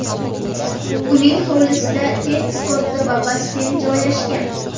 Uning hovlisida tennis korti va basseyn joylashgan.